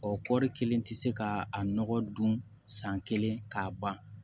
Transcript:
Ɔ kɔɔri kelen tɛ se ka a nɔgɔ dun san kelen k'a ban